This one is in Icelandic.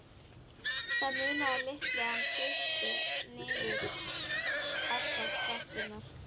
Það munaði litlu að hann dytti niður allar tröppurnar.